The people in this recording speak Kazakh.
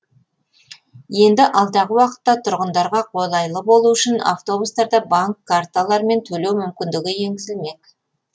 енді алдағы уақытта тұрғындарға қолайлы болуы үшін автобустарда банк карталарымен төлеу мүмкіндігі енгізілмек